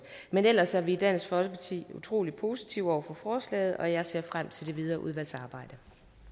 men ellers er vi i dansk folkeparti utrolig positive over for forslaget og jeg ser frem til det videre udvalgsarbejde